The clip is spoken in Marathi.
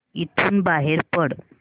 इथून बाहेर पड